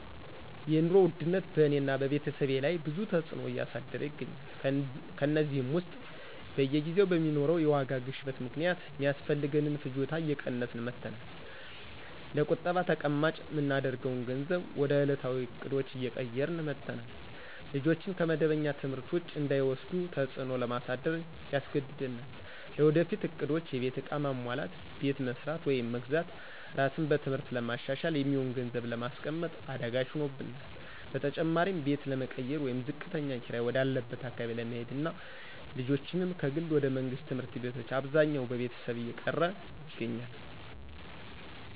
የኑሮ ውድነት በእኔና በቤተሰቤ ላይ ብዙ ተዕጽኖ እያሳደረ ይገኛል። ከእነዚህም ውስጥ በየጊዜው በሚኖረው የዋጋ ግሽበት ምክንያት ሚያስፈልገንን ፍጆታ እየቀነስን መጠናል፣ ለቁጠባ ተቀማጭ ምናደርገውን ገንዘብ ወደ እለታዊ እቅዶች እየቀየርን መጠናል፣ ልጆችን ከመደበኛ ትምህርት ውጪ እንዳይወስዱ ተጽዕኖ ለማሳደር ያስገድደናል። ለወደፊት እቅዶች(የቤት ዕቃ ማሟላት፣ ቤት መስራት ወይም መግዛት፣ ራስን በትምህርት ለማሻሻል) የሚሆን ገንዘብ ለማስቀመጥ አዳጋች ሆኖብናል። በተጨማሪም ቤት ለመቀየር ወይም ዝቅተኛ ኪራይ ወደ አለበት አካባቢ ለመሄድና ልጆችንም ከግል ወደ መንግስት ትምህርት ቤቶች አብዛኛው ቤተሰብ እየቀየረ ይገኛል።